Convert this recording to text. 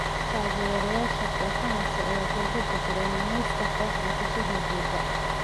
Taagerayasha kooxahaas ayaa durba bedelay naanaysta kooxaha ka soo horjeeda.